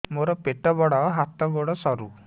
ମୋର ପେଟ ବଡ ହାତ ଗୋଡ ସରୁ